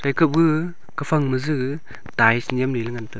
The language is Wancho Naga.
eka bu kaphang ma ju ties nyem leley ngan taiga.